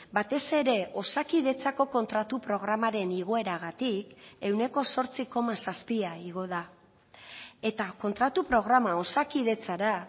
batez ere osakidetzako kontratu programaren igoeragatik ehuneko zortzi koma zazpia igo da eta kontratu programa osakidetzara